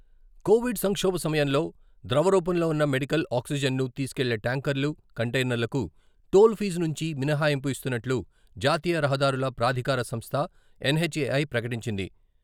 Covid సంక్షోభ సమయంలో ద్రవరూపంలో ఉన్న మెడికల్ ఆక్సిజన్ను తీసుకెళ్లే ట్యాంకర్లు, కంటెయినర్లకు టోల్ఫీజు నుంచి మినహాయింపు ఇస్తున్నట్లు జాతీయ రహదారుల ప్రాధికార సంస్థ, ఎన్హెచ్ఎఐ ప్రకటించింది.